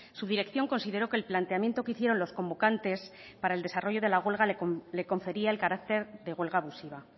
su dirección consideró que el planteamiento que hicieron los convocantes para el desarrollo de la huelga le confería el carácter de huelga abusiva